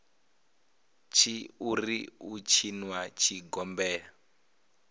tshi ri u tshinwa zwigombela